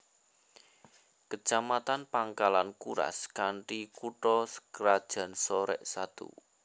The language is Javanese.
Kecamatan Pangkalan Kuras kanthi kutha krajan Sorek Satu